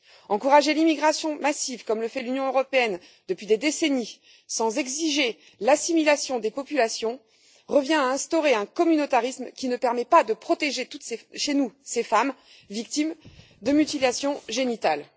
Encourager l'immigration massive, comme le fait l'Union européenne depuis des décennies, sans exiger l'assimilation des populations, revient à instaurer un communautarisme qui ne permet pas de protéger chez nous toutes ces femmes victimes de mutilations génitales.